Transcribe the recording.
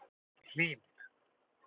Hlín